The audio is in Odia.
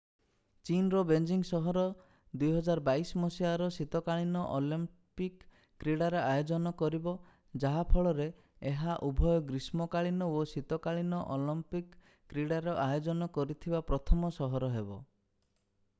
ଚୀନର ବେଜିଂ ସହର 2022 ମସିହାରେ ଶୀତକାଳୀନ ଅଲମ୍ପିକ କ୍ରୀଡ଼ାର ଆୟୋଜନ କରିବ ଯାହା ଫଳରେ ଏହା ଉଭୟ ଗ୍ରୀଷ୍ମକାଳୀନ ଓ ଶୀତକାଳୀନ ଅଲମ୍ପିକ କ୍ରୀଡ଼ାର ଆୟୋଜନ କରିଥିବା ପ୍ରଥମ ସହର ହେବ